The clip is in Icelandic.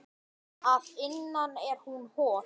Að innan er hún hol.